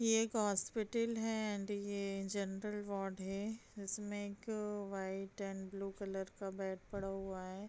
ये एक हॉस्पिटल है एंड ये जनरल वॉर्ड है इसमे एक व्हाइट एंड ब्लू कलर का बेड पड़ा हुआ है।